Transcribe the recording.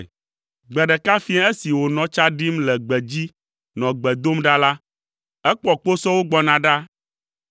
Gbe ɖeka fiẽ esi wònɔ tsa ɖim le gbedzi nɔ gbe dom ɖa la, ekpɔ kposɔwo gbɔna ɖa.